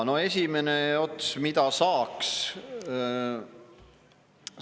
No esimene ots: mida saaks?